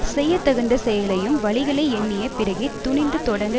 செய்ய தகுந்த செயலையும் வழிகளை எண்ணிய பிறகே துணிந்து தொடங்க